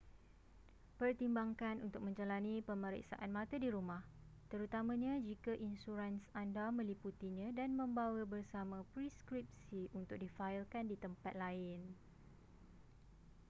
pertimbangkan untuk menjalani pemeriksaan mata di rumah terutamanya jika insurans anda meliputinya dan membawa bersama preskripsi untuk difailkan di tempat lain